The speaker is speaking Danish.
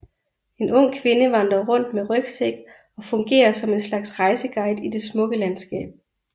En ung kvinde vandrer rundt med rygsæk og fungerer som en slags rejseguide i det smukke landskab